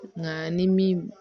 Nka ni min